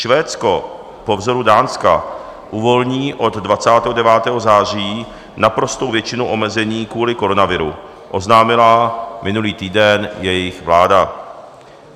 Švédsko po vzoru Dánska uvolní od 29. září naprostou většinu omezení kvůli koronaviru, oznámila minulý týden jejich vláda.